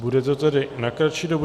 Bude to tedy na kratší dobu.